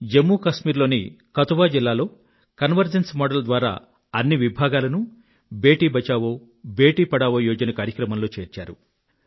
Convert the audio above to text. జమ్ము కశ్మీర్ లోని కధువా జిల్లాలో convergence model ద్వారా అన్ని విభాగాలనూ బేటీ బచావో బేటీ పఢావో యోజన కార్యక్రమంలో చేర్చారు